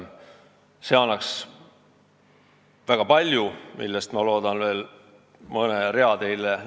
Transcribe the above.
See annaks väga palju ja ma loodan teile selle kohta veel mõne rea näidata.